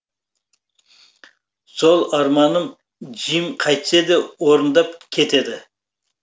сол арманын джим қайтсе де орындап кетеді